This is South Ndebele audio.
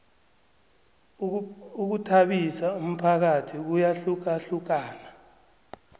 ukhuthabisa umphakathi kuyahlukahlukana